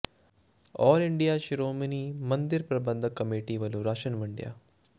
ਆਲ India ਸ਼ੋ੍ਰਮਣੀ ਮੰਦਿਰ ਪ੍ਰਬੰਧਕ ਕਮੇਟੀ ਵੱਲੋਂ ਰਾਸ਼ਨ ਵੰਡਿਆ